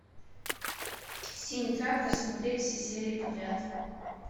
синий трактор смотреть все серии подряд